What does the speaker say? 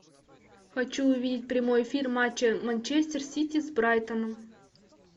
хочу увидеть прямой эфир матча манчестер сити с брайтоном